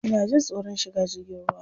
Ina jin tsoron shiga jirgin ruwa.